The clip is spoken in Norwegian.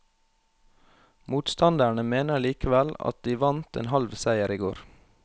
Motstanderne mener likevel at de vant en halv seier i går.